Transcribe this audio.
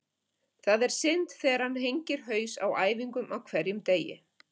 Það er synd þegar hann hengir haus á æfingum á hverjum degi.